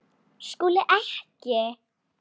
SKÚLI: Ekki?